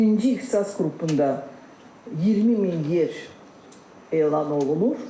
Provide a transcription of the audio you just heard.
Birinci ixtisas qrupunda 20 min yer elan olunub.